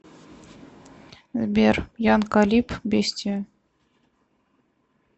сбер ян калиб бестия